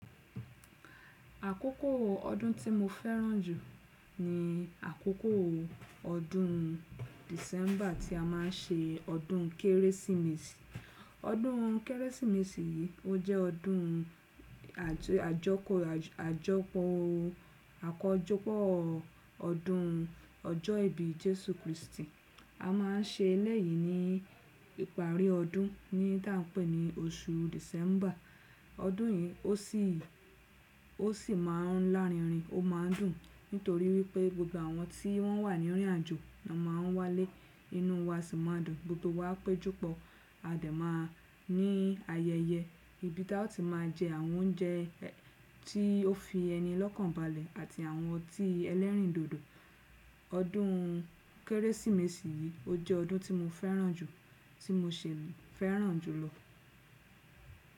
Àkókò ọdún tí mo fẹ́ràn jù ni àkókò ọdún December tí a má ń ṣe ọdún Kérésìmesì. Ọdún Kérésìmesì yìí ó jẹ́ ọdún àjọkò, àjọpọ̀ akójọpọ̀ ọdún ọjọ́ ìbí Jésù Kristi. A má ń se eléyìí ní ìparí ọdún ní tá n pé ni oṣù December. Ọdún yìí ó sì, ó sì ma ń lárinrin, ó ma ń dùn nítorí wípé gbogbo àwọn tí wọ́n wà ní rìn àjò má n wá lé, inú wa sì ma ń dùn gbogbo wa péjúpa. A dẹ̀ ma ní ayẹyẹ ibi taò ti máa jẹ àwọn oúnjẹ tí ó fi ẹni lọ́kàn balẹ̀ àti àwọn ọtí ẹlẹ́rìndòdò. Ọdún Kérésìmesì yìí ó jẹ́ ọdún tí mo fẹ́ràn jù, tí mo ṣe fẹ́ràn jùlọ.